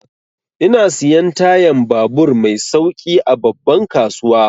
Ina siyan tayan babur mai sauƙi a babban kasuwa.